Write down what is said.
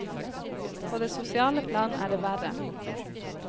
På det sosiale plan er det verre.